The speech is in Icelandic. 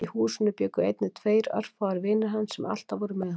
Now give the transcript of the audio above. Í húsinu bjuggu einnig tveir orðfáir vinir hans sem alltaf voru með honum.